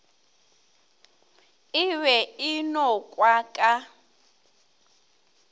e be e nokwa ka